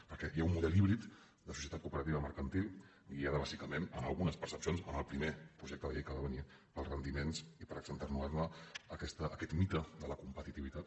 perquè hi ha un model híbrid de societat cooperativa mercantil guiat bàsicament en algunes percepcions en el primer projecte de llei que ha va venir pels rendiments i per accentuar ne aquest mite de la competitivitat